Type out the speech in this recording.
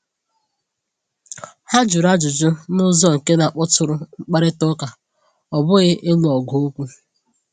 Ha jụrụ ajụjụ n’ụzọ nke na-akpọtụrụ mkparịta ụka, ọ bụghị ịlụ ọgụ okwu.